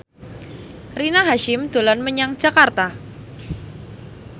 Rina Hasyim dolan menyang Jakarta